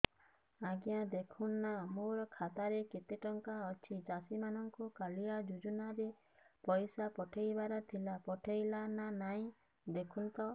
ଆଜ୍ଞା ଦେଖୁନ ନା ମୋର ଖାତାରେ କେତେ ଟଙ୍କା ଅଛି ଚାଷୀ ମାନଙ୍କୁ କାଳିଆ ଯୁଜୁନା ରେ ପଇସା ପଠେଇବାର ଥିଲା ପଠେଇଲା ନା ନାଇଁ ଦେଖୁନ ତ